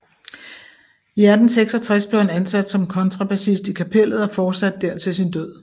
I 1866 blev han ansat som kontrabassist i Kapellet og fortsatte der til sin død